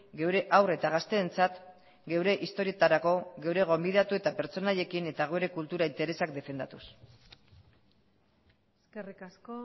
geure haur eta gazteentzat geure historietarako geure gonbidatu eta pertsonaiekin eta geure kultura interesak defendatuz eskerrik asko